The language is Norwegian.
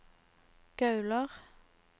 Gaular